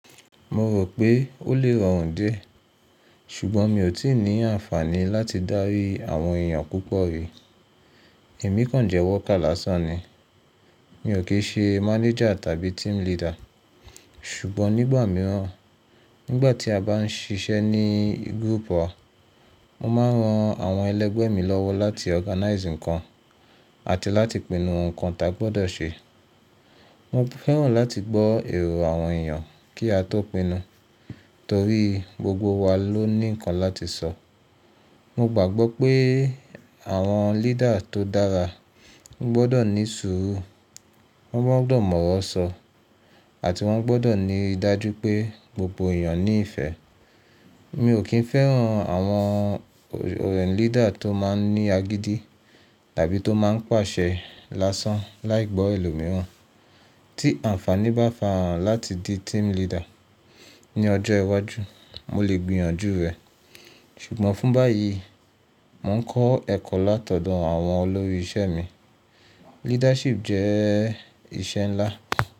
Mo rò pé ó lè rọrùn dé, ṣùgbọ́n mi ò tíì ní àǹfààní láti dárí àwọn èèyàn púpọ̀ rí. Èmi kàn jẹ́ worker lásán ni. Mi ò kí í ṣe mánéjà tàbí team leader. Ṣùgbọ́n nígbà mìíràn, nígbà tí a bá ń sisẹ́ ní group wa, mo máa ń ran àwọn ẹlẹgbẹ́ mi lọ́wọ́ láti organize nǹkan àti láti pinnu nǹkan ta a gbọ́dọ̀ ṣe. Mo fẹ́ràn láti gbọ́ èrò àwọn èèyàn kí a tó pinnu, torí gbogbo wa ló ní nǹkan láti sọ. Mo gbàgbọ́ pé àwọn leader tó dára gbọ́dọ̀ ní sùúrù, wọ́n gbọ́dọ̀ mọ̀ ọ̀rọ̀ sọ, àti wọ́n gbọ́dọ̀ ní ìdájú pé gbogbo èèyàn ní ìfẹ́. Mi ò kí i fẹ́ràn àwọn leader tó máa ń ní agídí tàbí tó máa ń pàṣẹ lásán láì gbọ́ èlò mìíràn. Tí àǹfààní bá fà ara hán láti di team leader ní ọjọ́ iwájú, mo lè gbìyànjú rẹ̀. Ṣùgbọ́n fún báyìí, mò ń kọ́ ẹ̀kọ́ látọ̀dọ̀ àwọn olórí iṣẹ́ mi. Leadership jẹ́ iṣẹ́ ńlá.